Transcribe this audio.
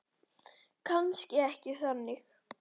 Kannski ekki þannig.